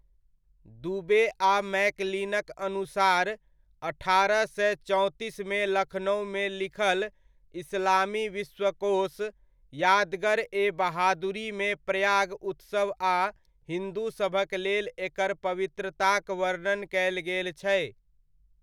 दुबे आ मैकलिनक अनुसार, अठारह सए चौंतीसमे लखनउमे लिखल इस्लामी विश्वकोश यादगर ए बहादुरीमे प्रयाग उत्सव आ हिन्दूसभक लेल एकर पवित्रताक वर्णन कयल गेल छै।